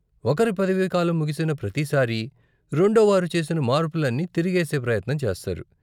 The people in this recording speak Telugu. ఒకరి పదవీకాలం ముగిసిన ప్రతి సారి, రెండోవారు చేసిన మార్పులన్నీ తిరగేసే ప్రయత్నం చేస్తారు.